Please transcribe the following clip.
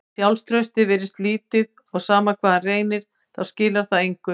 Sjálfstraustið virðist lítið og sama hvað hann reynir þá skilar það engu.